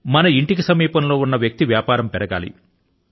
మన ఇంటికి సమీపంలో ఉన్న వ్యక్తి వ్యాపారం పెరగాలి